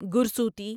گرسوتی